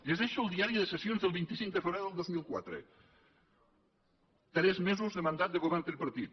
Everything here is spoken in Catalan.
llegeixo el diari de sessions del vint cinc de febrer del dos mil quatre tres mesos de mandat de govern tripartit